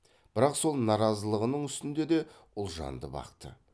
бірақ сол наразылығының үстінде де ұлжанды бақты